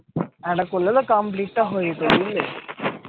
আরেকটা করলে তো complete টা হয়ে যেতো বুঝলে